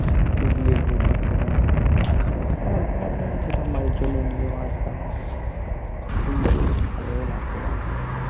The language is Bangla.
গিয়ে ঘুর পাক খেতাম শুধু আর খাবার দাবার অল্প মাঝে মাঝে খেতাম মায়ের জন্যে নিয়েও আসতাম প্রতিদিন গিয়ে বেশ ভালোও লাগতো মেলাটাতে